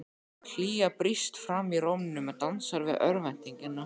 Hlýja brýst fram í rómnum og dansar við örvæntinguna.